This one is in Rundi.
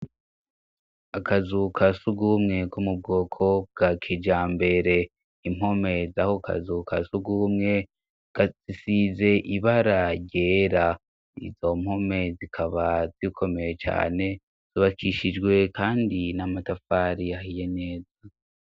Akazu ka surwumwe ko mubwoko bwa kijambere; impome z'ako kazu ka surwumwe, zisize ibara ryera. Izo mpome zikaba zikomeye cane, zubakishijwe kandi n'amatafari ahiye neza.